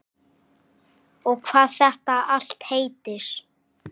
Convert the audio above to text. Og hvað þetta allt heitir.